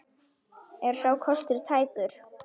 Er sá kostur tækur?